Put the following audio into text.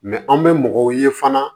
an bɛ mɔgɔw ye fana